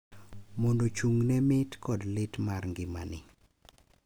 mondo ochung’ ne mit kod lit mar ngima ni